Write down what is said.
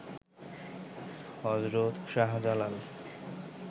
Hazrat Shahjalal